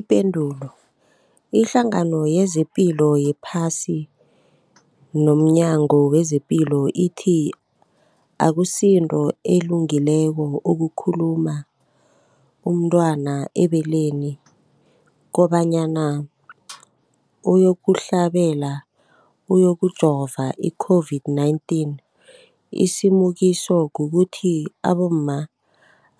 Ipendulo, iHlangano yezePilo yePhasi nomNyango wezePilo ithi akusinto elungileko ukulumula umntwana ebeleni kobanyana uyokuhlabela, uyokujovela i-COVID-19. Isilimukiso kukuthi abomma